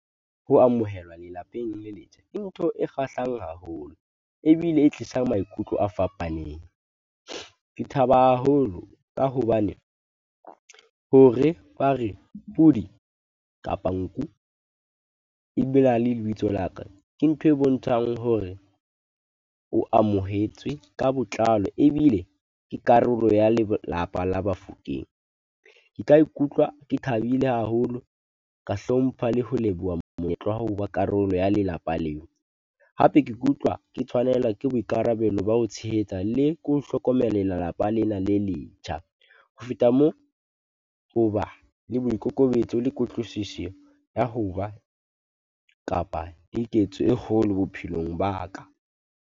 Ho amohelwa lelapeng le letjha, ke ntho e kgahlang haholo, ebile e tlisang maikutlo a fapaneng. Ke thaba haholo ka hobane, hore ba reke pudi kapa nku e be na le lebitso laka, ke ntho e bontshang hore o amohetswe ka botlalo ebile ke karolo ya lelapa la Bafokeng. Ke ka ikutlwa ke thabile haholo ka hlompha le ho leboha monyetla wa ho ba karolo ya lelapa leo. Hape ke kutlwa ke tshwanelwa ke boikarabelo ba ho tshehetsa le ko hlokomela lelapa lena le letjha. Ho feta moo, ho ba le boikokobetso le kutlwisiso ya ho ba kapa keketso e kgolo bophelong ba ka.